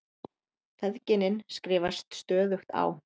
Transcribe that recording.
Feðginin skrifast stöðugt á.